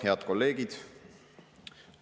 Head kolleegid!